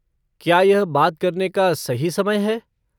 क्या यह बात करने का सही समय है?